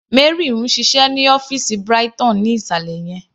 Mary ń ṣiṣẹ́ ní ọ́fìsì Brighton ní ìsàlẹ̀ yẹn..